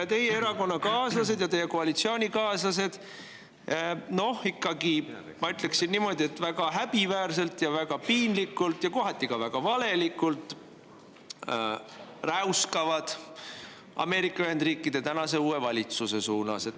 Ja teie erakonnakaaslased ja koalitsioonikaaslased, ma ütleksin, ikka väga häbiväärselt ja väga piinlikult ja kohati ka väga valelikult räuskavad Ameerika Ühendriikide tänase uue valitsuse suunas.